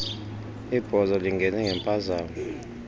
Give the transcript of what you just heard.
ibhozo lingene ngemphazamo